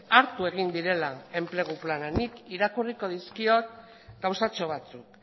hartu egin direla enplegu planean nik irakurriko dizkiot gauzatxo batzuk